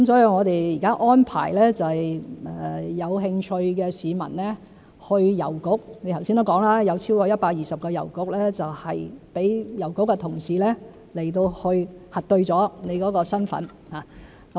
我們現在安排有興趣的市民去郵局，正如陳議員剛才所說，有超過120個郵局讓郵局同事去核對市民的身份。